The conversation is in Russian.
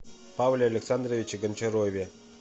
павле александровиче гончарове